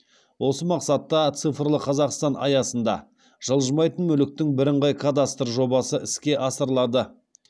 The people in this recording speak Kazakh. осы мақсатта цифрлық қазақстан аясында жылжымайтын мүліктің бірыңғай кадастры жобасы іске асырылады